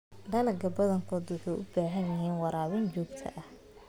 Dalagyada badankoodu waxay u baahan yihiin waraabin joogto ah.